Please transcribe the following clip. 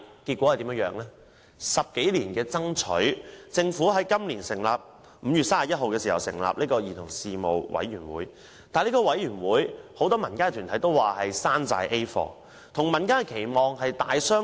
經過10多年的爭取，政府在今年5月31日成立了兒童事務委員會，但很多民間團體也說它只是一個"山寨 A 貨"，與民間的期望大相逕庭。